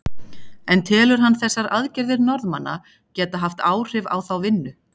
En telur hann þessar aðgerðir Norðmanna geta haft áhrif á þá vinnu?